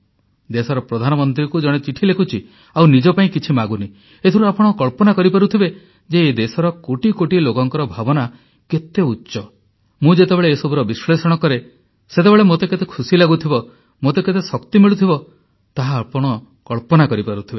ଦେଶର ପ୍ରଧାନମନ୍ତ୍ରୀଙ୍କୁ ଜଣେ ଚିଠି ଲେଖୁଛି ଆଉ ନିଜ ପାଇଁ କିଛି ମାଗୁନି ଏଥିରୁ ଆପଣ କଳ୍ପନା କରିପାରୁଥିବେ ଯେ ଏ ଦେଶର କୋଟି କୋଟି ଲୋକଙ୍କର ଭାବନା କେତେ ଉଚ୍ଚ ମୁଁ ଯେତେବେଳେ ଏ ସବୁର ବିଶ୍ଲେଷଣ କରେ ସେତେବେଳେ ମୋତେ କେତେ ଖୁସି ଲାଗୁଥିବ ମୋତେ କେତେ ଶକ୍ତି ମିଳୁଥିବ ତାହା ଆପଣ କଳ୍ପନା କରିପାରୁଥିବେ